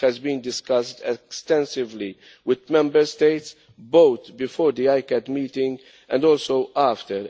This has been discussed extensively with Members States both before the ICCAT meeting and also after.